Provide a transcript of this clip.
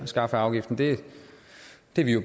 det lige